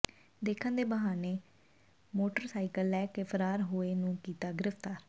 ਦੇਖਣ ਦੇ ਬਹਾਨੇ ਮੋਟਰਸਾਈਕਲ ਲੈ ਕੇ ਫਰਾਰ ਹੋਏ ਨੂੰ ਕੀਤਾ ਗਿ੍ਫ਼ਤਾਰ